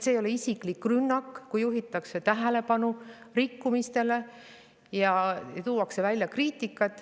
See ei ole isiklik rünnak, kui juhitakse tähelepanu rikkumistele ja tuuakse välja kriitikat.